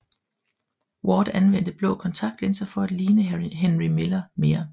Ward anvendte blå kontaktlinser for at ligne Henry Miller bedre